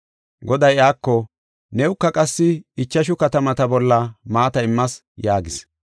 “Goday iyako, ‘Newuka qassi ichashu katamata bolla maata immas’ yaagis.